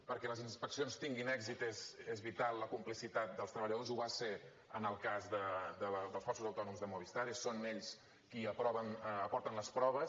perquè les inspeccions tinguin èxit és vital la complicitat dels treballadors ho va ser en el cas dels falsos autònoms de movistar són ells qui aporten les proves